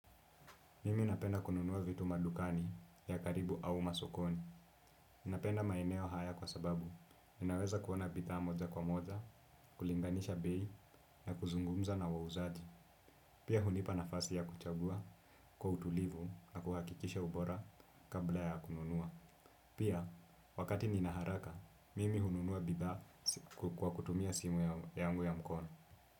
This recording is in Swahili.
Mimi napenda kununua vitu madukani ya karibu au masokoni. Ninapenda maeneo haya kwa sababu. Ninaweza kuona bidhaa moja kwa moja, kulinganisha bei, na kuzungumza na wauzaji. Pia hunipa nafasi ya kuchagua kwa utulivu na kuhakikisha ubora kabla ya kununua. Pia, wakati nina haraka, mimi hununua bidhaa kwa kutumia simu yangu ya mkono.